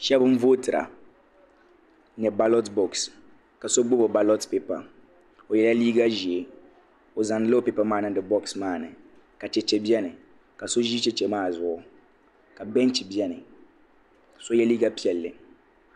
Shɛba n vootira ni baalɔt bɔks ka so gbubi o baalɔt pipa o yɛla liiga ʒee o zaŋdi la o pipa maa niŋdi bɔks maa ni ka cheche bɛni ka so ʒi cheche maa zuɣu ka bɛɛnchi bɛni ka so yɛ liiga piɛlli.